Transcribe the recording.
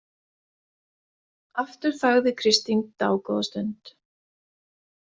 Aftur þagði Kristín dágóða stund.